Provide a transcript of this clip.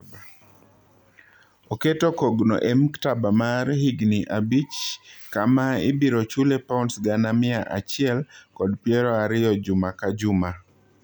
Okedo kogno e mkataba mar higni abich kama ibiro chule paunds gana mia achiel kod piero ariyo juma ka juma.